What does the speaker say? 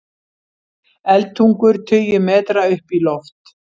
Eldtungur tugi metra upp í loft